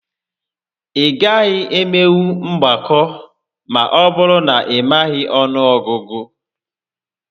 Ị gaghị emenwu mgbakọ ma ọbụrụ na ị maghị ọnụ ọgụgụ